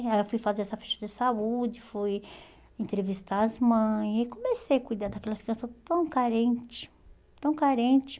Aí eu fui fazer essa ficha de saúde, fui entrevistar as mães, e comecei a cuidar daquelas crianças tão carentes, tão carentes.